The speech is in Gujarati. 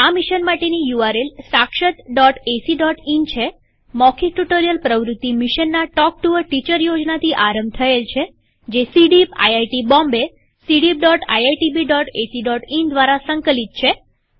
આ મિશન માટેની યુઆરએલ sakshatacઇન છેમૌખિક ટ્યુ્ટોરીઅલ પ્રવૃત્તિ મિશનના ટોક ટુ અ ટીચર યોજનાથી આરંભ થયેલ છેજે cdeepઆઇઆઇટી Bombay160 cdeepiitbacઇન દ્વારા સંકલિત છે